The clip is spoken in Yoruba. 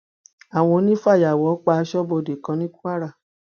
àwọn onífàyàwọ pa aṣọbodè kan ní kwara